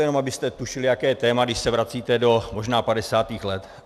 To jenom abyste tušili, jaké téma, když se vracíte do možná 50. let.